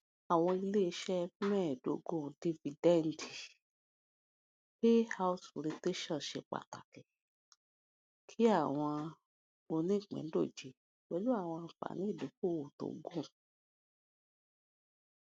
awọn ileiṣẹ mẹẹdogun dividend payout rotation ṣe pataki awọn onipindoje pẹlu awọn anfani idokoowo to gun